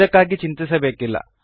ಇದಕ್ಕಾಗಿ ಚಿಂತಿಸಬೇಕಿಲ್ಲ